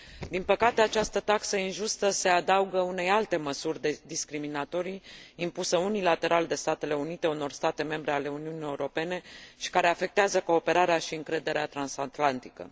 Din păcate, această taxă injustă se adaugă unei alte măsuri discriminatorii impusă unilateral de Statele Unite unor state membre ale Uniunii Europene și care afectează cooperarea și încrederea transatlantică.